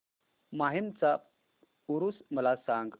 माहीमचा ऊरुस मला सांग